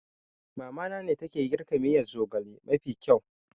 Mamana ne take girka miyan zogale mafi kyau